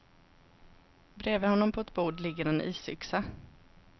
Bredvid honom på ett bord ligger en isyxa.